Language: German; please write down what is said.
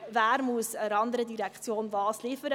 Wer muss der anderen Direktion was liefern?